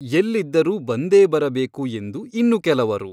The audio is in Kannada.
ಎಲ್ಲಿದ್ದರೂ ಬಂದೇ ಬರಬೇಕು ಎಂದು ಇನ್ನು ಕೆಲವರು.